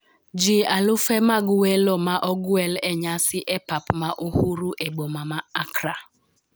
ji alufe mag welo ne ogwel e nyasi e pap ma Uhuru e boma ma Accra